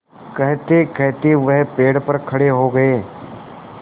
कहतेकहते वह पेड़ पर खड़े हो गए